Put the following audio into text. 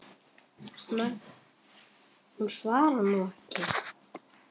Hún svarar nú ekki.